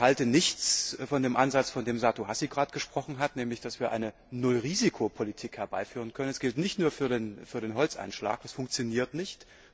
Ich halte nichts von dem Ansatz, von dem Satu Hassi gerade gesprochen hat, nämlich dass wir eine Nullrisiko Politik herbeiführen können. Das gilt nicht nur für den Holzeinschlag, das funktioniert nicht.